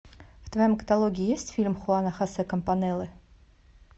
в твоем каталоге есть фильм хуана хосе кампанеллы